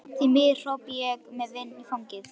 Því miður, hrópa ég með vindinn í fangið.